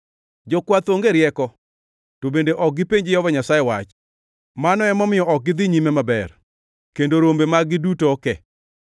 Jokwath onge rieko to bende ok gipenj Jehova Nyasaye wach; mano emomiyo ok gidhi nyime maber kendo rombe mag-gi duto oke.